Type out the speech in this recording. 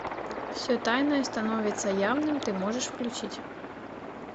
все тайное становится явным ты можешь включить